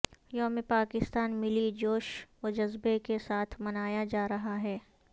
یوم پاکستان ملی جوش و جذبے کے ساتھ منایا جا رہا ہے